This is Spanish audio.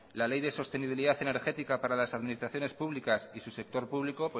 la ley de sostenibilidad energética para las administraciones públicas y su sector público